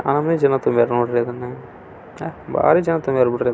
ಈ ಕಟಡದ ಮೇಲೆ ಪ್ಲಸ್ ಚಿನೇಏನು ಹಾಕಿದಾರೇ ಈ ಕಟಡದ ಮುಂದೆ ತುಂಬಾ ಮಹಿಳೆಯರು ಮತ್ತು ಪುರುಷರು ನಿಥಿಕೊಂಡಿದಾರೆ.